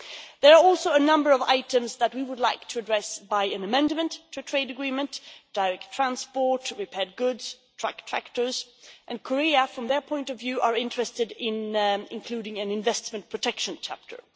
There are also a number of items that we would like to address by an amendment to trade agreement direct transport, repaired goods, truck tractors, and Korea, from their point of view, are interested in including an investment protection chapter.